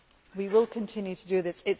We will continue to do this.